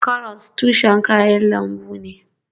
Karas tushen kayan lambu ne.